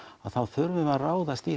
þá þurfum við að ráðast í